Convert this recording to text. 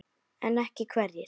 En ekki hverjir?